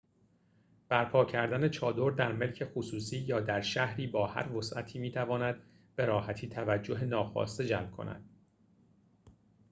برپا کردن چادر در ملک خصوصی یا در شهری با هر وسعتی می‌تواند به‌راحتی توجه ناخواسته جلب کند